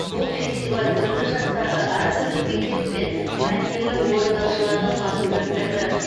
бұл фестиваль түрлі жастағы әртүрлі мектеп пен мәнерлі орындаушылардың басын біріктірді